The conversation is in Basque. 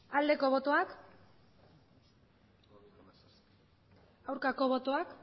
aldeko botoak aurkako botoak